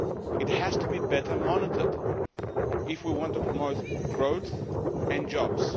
It has to be better monitored if we want to promote growth and jobs.